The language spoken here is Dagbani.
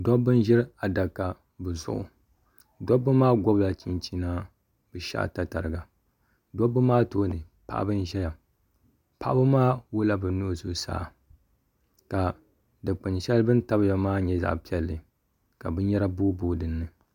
Dobba n ziri adaka bi zuɣu dobba maa gobila chinchina bi shɛhi tatariga dobba maa too ni paɣaba n ʒɛya paɣaba maa wuɣila bi nuhi zuɣusaa ka dukpuni shɛli bi ni tabiya maa nyɛ zaɣa piɛli ka binyara booi boo dini.